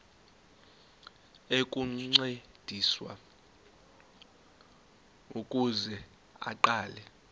ukuncediswa ukuze aqale